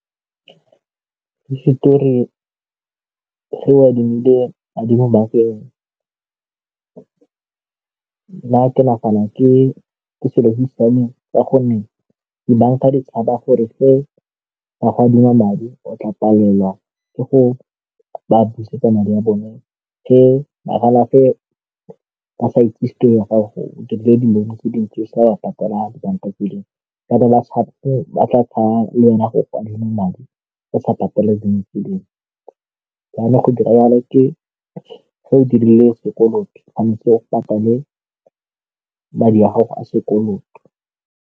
Hisetori ge o adimile madi mo bankeng nna ke nagana ke ke selo se ae siameng ka gonne dibanka di tshaba gore ba go adima madi o tla palelwa ke go a buse kana ya bone ke magala fa ba sa itse dilong tse dintsi sa ba patela banka bana ba ba tla tsaya go adima madi a sa patelang e leng yone go dira jalo ke gore o dirile sekoloto ga ntse o patela madi a gago a sekoloto.